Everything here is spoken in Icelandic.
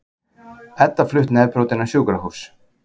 Edda flutt nefbrotin á sjúkrahús